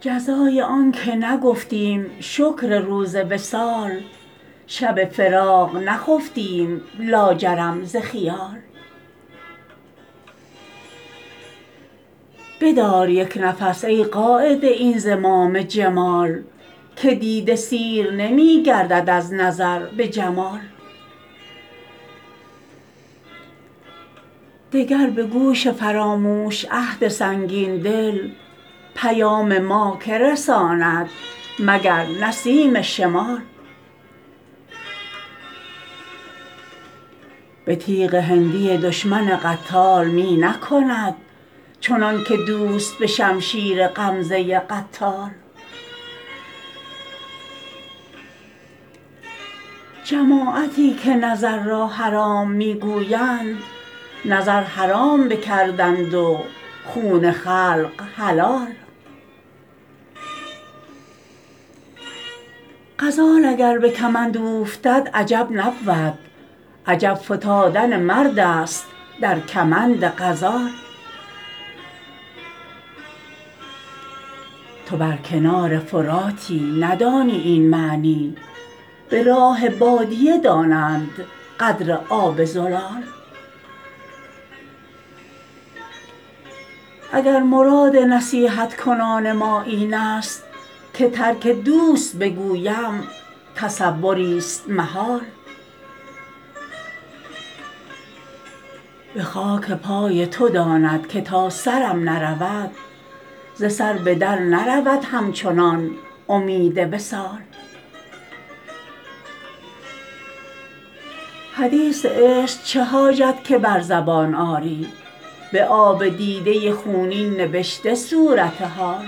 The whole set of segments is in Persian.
جزای آن که نگفتیم شکر روز وصال شب فراق نخفتیم لاجرم ز خیال بدار یک نفس ای قاید این زمام جمال که دیده سیر نمی گردد از نظر به جمال دگر به گوش فراموش عهد سنگین دل پیام ما که رساند مگر نسیم شمال به تیغ هندی دشمن قتال می نکند چنان که دوست به شمشیر غمزه قتال جماعتی که نظر را حرام می گویند نظر حرام بکردند و خون خلق حلال غزال اگر به کمند اوفتد عجب نبود عجب فتادن مرد است در کمند غزال تو بر کنار فراتی ندانی این معنی به راه بادیه دانند قدر آب زلال اگر مراد نصیحت کنان ما این است که ترک دوست بگویم تصوریست محال به خاک پای تو داند که تا سرم نرود ز سر به در نرود همچنان امید وصال حدیث عشق چه حاجت که بر زبان آری به آب دیده خونین نبشته صورت حال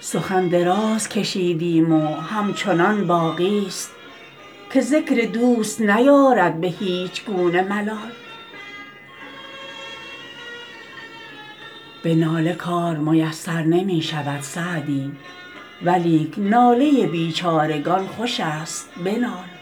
سخن دراز کشیدیم و همچنان باقیست که ذکر دوست نیارد به هیچ گونه ملال به ناله کار میسر نمی شود سعدی ولیک ناله بیچارگان خوش است بنال